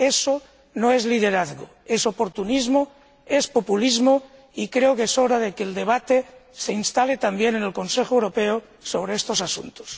Eso no es liderazgo, es oportunismo, es populismo, y creo que es hora de que el debate se instale también en el Consejo Europeo sobre estos asuntos.